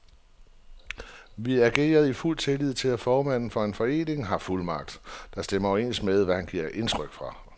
Vi agerede i fuld tillid til, at en formand for en forening har fuldmagt, der stemmer overens med, hvad han giver udtryk for.